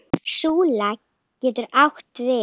Súla getur átt við